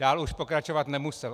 Dál už pokračovat nemusel.